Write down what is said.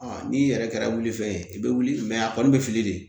n'i yɛrɛ kɛra wili fɛn ye i bɛ wuli a kɔni bɛ fili de